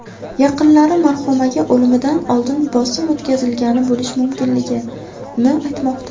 Yaqinlari marhumaga o‘limidan oldin bosim o‘tkazilgan bo‘lishi mumkinligini aytmoqda.